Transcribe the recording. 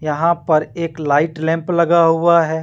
यहां पर एक लाइट लैंप लगा हुआ है।